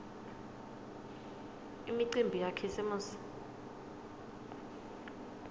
imicimbi yakhisimusi